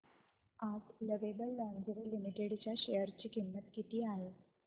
आज Lovable Lingerie Limited च्या share ची किंमत किती आहे